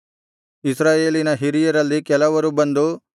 ಇಸ್ರಾಯೇಲಿನ ಹಿರಿಯರಲ್ಲಿ ಕೆಲವರು ಬಂದು